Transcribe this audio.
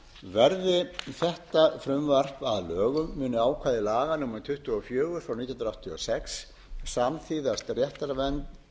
verði þetta frumvarp að lögum munu ákvæði laga númer tuttugu og fjögur nítján hundruð áttatíu og sex samþýðast réttarvernd